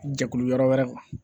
Jɛkulu yɔrɔ wɛrɛ